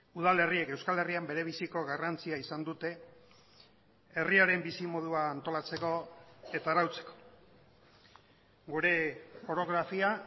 udalerriek euskal herrian berebiziko garrantzia izan dute herriaren bizimodua antolatzeko eta arautzeko gure orografia